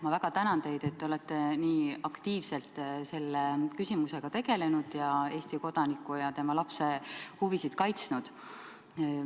Ma väga tänan teid, et olete nii aktiivselt selle küsimusega tegelenud ning Eesti kodaniku ja tema lapse huvisid kaitsnud.